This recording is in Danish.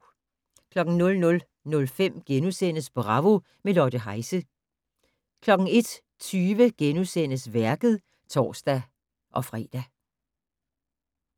00:05: Bravo - med Lotte Heise * 01:20: Værket *(tor-fre)